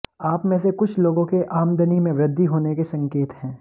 आप में से कुछ लोगों के आमदनी में वृद्धि होने के संकेत हैं